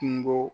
Kungo